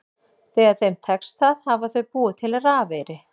Þegar þeim tekst það hafa þau búið til rafeyri.